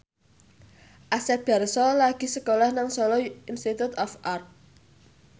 Asep Darso lagi sekolah nang Solo Institute of Art